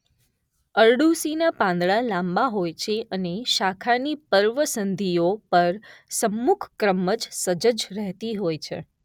અરડૂસીનાં પાંદડાં લાંબા હોય છે અને શાખાની પર્વસન્ધિઓ પર સમ્મુખ ક્રમમાં સજ્જ રહેતી હોય છે.